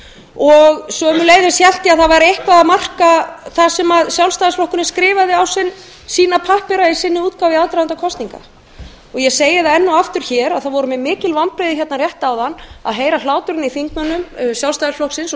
og einnig hélt ég að það væri eitthvað að marka það sem sjálfstæðisflokkurinn skrifaði á sína pappíra í sinni útgáfu í aðdraganda kosninga ég segi það enn og aftur hér að það voru mér mikil vonbrigði núna rétt áðan að heyra hláturinn í þingmönnum sjálfstæðisflokksins